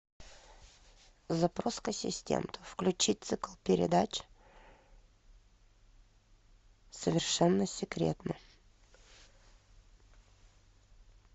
запрос к ассистенту включить цикл передач совершенно секретно